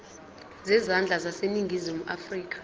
zezandla zaseningizimu afrika